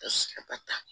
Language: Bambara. Ka sikaba ta